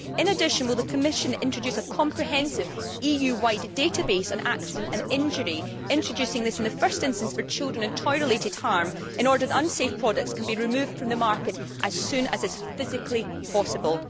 In addition, will the Commission introduce a comprehensive EU wide database on accident and injury, introducing this in the first instance for children and toy related harm, so that unsafe products can be removed from the market as soon as is physically possible?